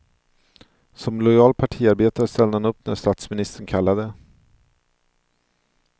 Som lojal partiarbetare ställde han upp när statsministern kallade.